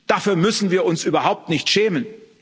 Dafür müssen wir uns überhaupt nicht schämen.